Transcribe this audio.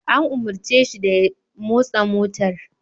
An umarce shi da ya motsa motar!